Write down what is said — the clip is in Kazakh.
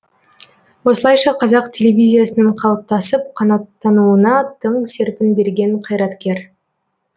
осылайша қазақ телевизиясының қалыптасып қанаттануына тың серпін берген қайраткер